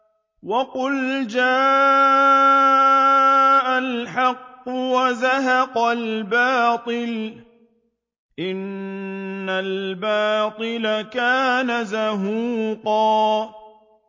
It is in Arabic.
وَقُلْ جَاءَ الْحَقُّ وَزَهَقَ الْبَاطِلُ ۚ إِنَّ الْبَاطِلَ كَانَ زَهُوقًا